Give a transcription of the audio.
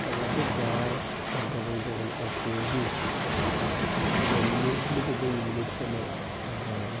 ka ba de daare a dɔgle dɔgle a kõɔ zu ka ba mine nobɔ bayi mine kyɛnɛ a daare zu.